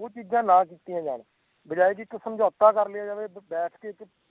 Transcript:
ਓਹ ਚੀਜਾਂ ਨਾ ਕੀਤੀਆਂ ਜਾਣ ਬਜਾਏ ਕਿ ਇੱਕ ਸਮਝੌਤਾ ਕਰ ਲਿਆ ਜਾਵੇ ਬੈਠ